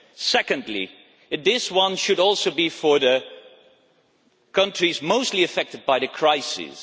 Secondly, this one should also be for the countries mostly affected by the crisis.